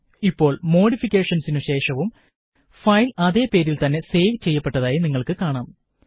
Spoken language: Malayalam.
ഇപ്പോള് മോഡിഫിക്കേഷനുശേഷവും ഫയല് അതേ പേരില് തന്നെ സേവ് ചെയ്യപ്പെട്ടതായി നിങ്ങള്ക്ക് കാണാം